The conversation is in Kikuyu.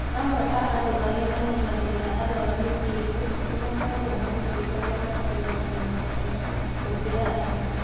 Amwe a andũ arĩa mamenyagĩrĩra arwaru mĩciĩ-inĩ nĩ makoragwo marũtĩtwo na makarũgamĩrĩrwo wega gũkĩra angĩ.